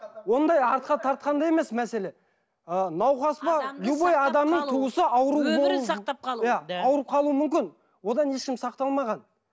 ондай артқа тартқанда емес мәселе ы науқас па любой адамның туысы ауырып өмірін сақтап қалу иә ауырып қалуы мүмкін одан ешкім сақталмаған